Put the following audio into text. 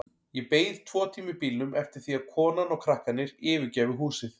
Ég beið tvo tíma í bílnum eftir því að konan og krakkarnir yfirgæfu húsið.